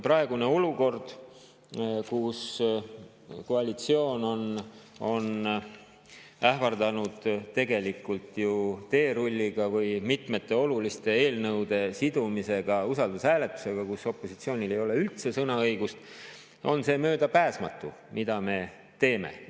Praeguses olukorras, kus koalitsioon on ähvardanud tegelikult ju teerulliga ehk sellega, et mitmed olulised eelnõud seotakse usaldushääletusega, mille korral opositsioonil ei ole üldse sõnaõigust, on see, mida me teeme, möödapääsmatu.